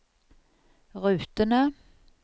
rutene